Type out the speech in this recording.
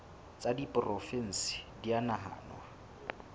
tsa diporofensi di a nahanwa